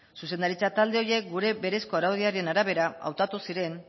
zuzendaritza talde horiek gure berezko araudiaren arabera hautatu ziren